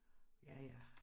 Ja ja